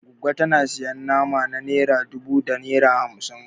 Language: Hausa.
Goggo tana sayan nama na naira dubu da naira hamsin